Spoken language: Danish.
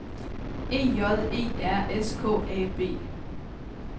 E J E R S K A B